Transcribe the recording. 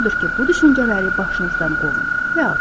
Odur ki, bu düşüncələri başınızdan qovun və atın.